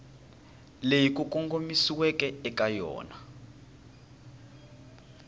leyi ku kongomisiweke eka yona